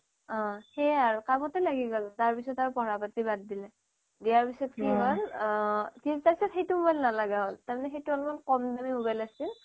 অ' হেয়াই আৰু কামতে লাগি গল পঢ়া পাতি বাদ দিলে ইয়াৰ পিছত কি হল কিন্তু তাৰ পিছত সেইটো mobile নলগা হল তাৰ মানে সেইটো অলপ কম দামী mobile আছিল